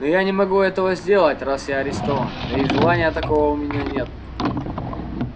но я не могу этого сделать раз я арестован да и желания такого у меня нет